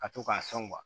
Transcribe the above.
Ka to k'a sɔn